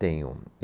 Tenho.